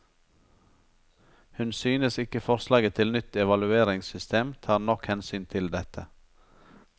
Hun synes ikke forslaget til nytt evalueringssystem tar nok hensyn til dette.